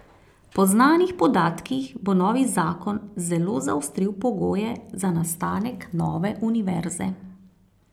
Po znanih podatkih bo novi zakon zelo zaostril pogoje za nastanek nove univerze.